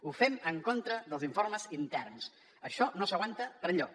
ho fem en contra dels informes interns això no s’aguanta per enlloc